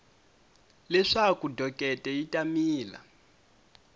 leswaku dokete yi ta mila